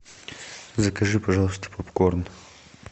закажи пожалуйста попкорн